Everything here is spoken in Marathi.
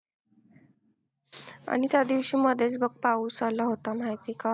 आणि त्यादिवशी मध्येच बघ पाऊस आला होता माहिती आहे का?